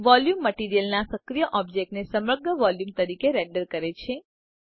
volume મટીરીઅલના સક્રિય ઑબ્જેક્ટને સમગ્ર વોલ્યુમ તરીકે રેન્ડર કરે છે